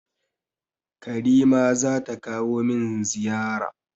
Karime zata kawo min ziyara.